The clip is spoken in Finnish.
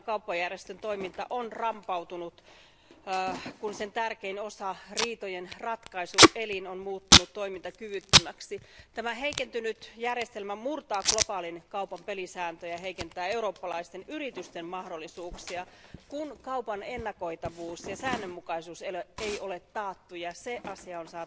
Maailman kauppajärjestön toiminta on rampautunut, kun sen tärkein osa riitojenratkaisuelin on muuttunut toimintakyvyttömäksi. Tämä heikentynyt järjestelmä murtaa globaalin kaupan pelisääntöjä, heikentää eurooppalaisten yritysten mahdollisuuksia, kun kaupan ennakoitavuus ja säännönmukaisuus ei ole taattu, ja siihen asiaan